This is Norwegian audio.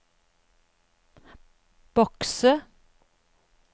bokse